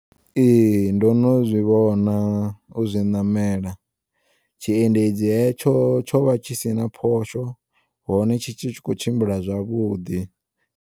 Ee, ndono zwivhona uzwi ṋamela, tshiendedzi hetsho tshovha tshi sina phosho hone tshi tshi khou tshimbila zwavhuḓi.